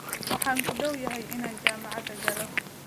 Waxaan ku dhowyahay inaan jaamacad galo.